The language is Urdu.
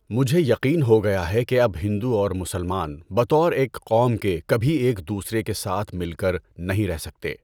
مجھے یقین ہو گیا ہے کہ اب ہندو اور مسلمان بطور ایک قوم کے کبھی ایک دوسرے کے ساتھ مل کر نہیں رہ سکتے۔